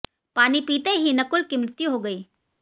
पानी पीते ही नकुल की मृत्यु हो गई